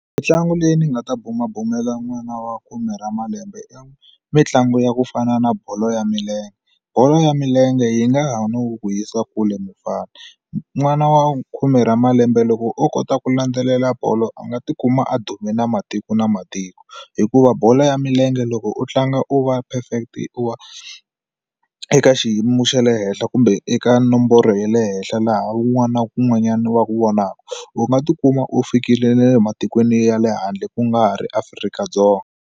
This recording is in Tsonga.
Mintlangu leyi ndzi nga ta bumabumela n'wana wa khume ra malembe i mitlangu ya ku fana na bolo ya milenge bolo ya milenge yi nga ha ndzi kule mufana n'wana wa khume ra malembe loko o kota ku landzelela bolo a nga ti kuma a dume na matiko na matiko hikuva bolo ya milenge loko u tlanga u va perfect u va eka xiyimo xa le henhla kumbe eka nomboro ya le henhla laha wun'wana na wun'wanyana va ku vonaka u nga tikuma u fikile na le matikweni ya le handle ku nga ha ri Afrika-Dzonga.